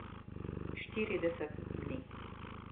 Štirideset dni.